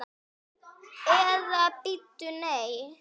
Eða bíddu, nei.